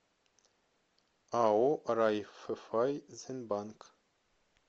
ао райффайзенбанк